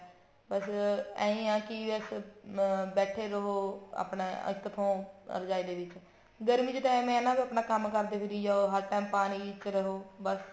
ਬੱਸ ਅਈ ਕੀ ਬਸ ਅਮ ਬੈਠੇ ਰਹੋ ਆਪਣਾ ਇੱਕ ਥੋਂ ਰਜਾਈ ਦੇ ਵਿੱਚ ਗਰਮੀ ਦੇ time ਏਵੇਂ ਹੈ ਨਾ ਆਪਣਾ ਕੰਮ ਕਰਦੇ ਫਿਰੀ ਜਾਓ ਹਰ time ਪਾਣੀ ਵਿੱਚ ਰਹੋ ਬੱਸ